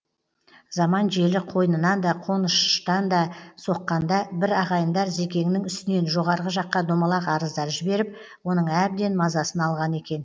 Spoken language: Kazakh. заман желі қойнынан да қоныштан да соққанда бір ағайындар зекеңнің үстінен жоғарғы жаққа домалақ арыздар жіберіп оның әбден мазасын алған екен